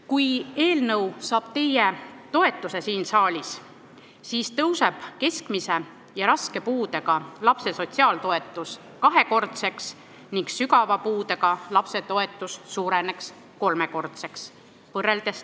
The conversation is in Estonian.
Kui eelnõu saab siin saalis teie toetuse, siis tõuseb keskmise ja raske puudega lapse sotsiaaltoetus tänase seisuga võrreldes kahekordseks ning sügava puudega lapse toetus suureneb kolmekordseks.